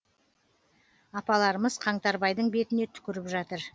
апаларымыз қаңтарбайдың бетіне түкіріп жатыр